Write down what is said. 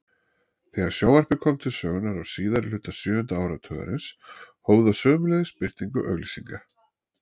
Þegar sjónvarpið kom til sögunnar á síðari hluta sjöunda áratugarins hóf það sömuleiðis birtingu auglýsinga.